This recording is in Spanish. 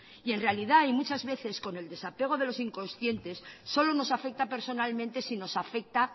y en realidad hay muchas veces que con el desapego de los inconscientes solo nos afecta personalmente si nos afecta